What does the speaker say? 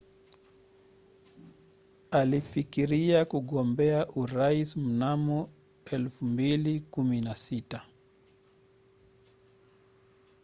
alifikiria kugombea urais mnamo 2016